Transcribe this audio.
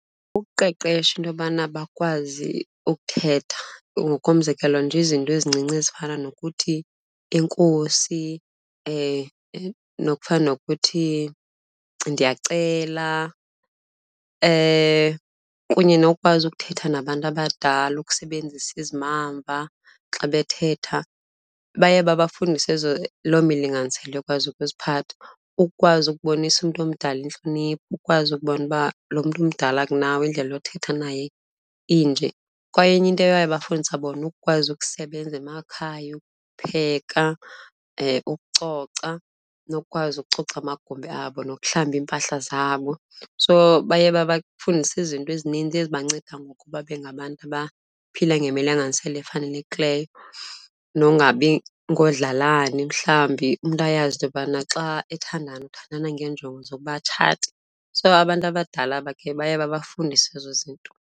Ukuqeqesha into yobana bakwazi ukuthetha, ngokomzekelo nje izinto ezincinci ezifana nokuthi enkosi nokufana nokuthi ndiyakucela kunye nokwazi ukuthetha nabantu abadala ukusebenzisa izimamva xa bethetha. Baye babafundise ezo loo milinganiselo yokwazi ukuziphatha, ukwazi ukubonisa umntu omdala intlonipho, ukwazi ukubona uba lo mntu umdala kunawe indlela yothetha naye inje. Kwaye enye into eyaye babafundisa bona, ukwazi ukusebenza emakhaya, ukupheka, ukucoca nokukwazi ukucoca amagumbi abo nokuhlamba iimpahla zabo. So baye babafundise izinto ezininzi ezibanceda ngokuba bengabantu abaphila ngemilinganiselo efanelekileyo, nongabi ngoodlalani mhlawumbi. Umntu ayazi into yokubana xa ethandana, uthandana ngeenjongo zokuba atshate, so abantu abadala bakhe babafundise ezo zinto.